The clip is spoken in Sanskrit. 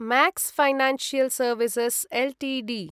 Max Financial Services Ltd